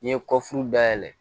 N'i ye kɔfi dayɛlɛ